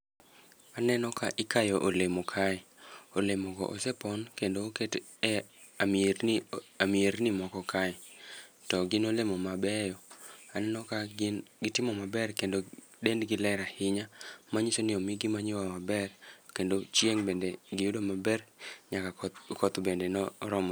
Aneno ka ikayo olemo kae, olemo go osepon kendo oket e amierni, amierni moko kae, to gin olemo mabeyo. Aneno ka gin gitimo maber kendo dendgi ber ahinya. Manyiso ni omi gi manyiwa maber, kendo chieng' bende giyudo maber, nyaka koth bende ne oromo.